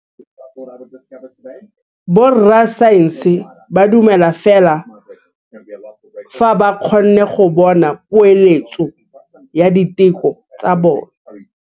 Borra saense ba dumela fela fa ba kgonne go bona poeletsô ya diteko tsa bone.